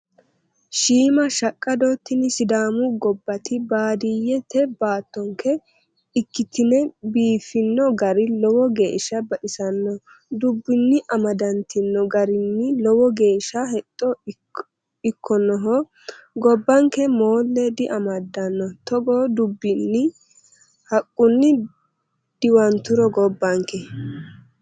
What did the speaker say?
Shama shaqqado tini sidaamu gobbati baadiyyete baattonke ikkitine biifino gari lowo geeshsha baxisano dubbuni amadatino garino lowo geeshsha hexxo ikkonoho gobbanke moole diamadano togo dubbuni haqquni diwanturo gobbanke.